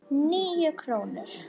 Níu krónur?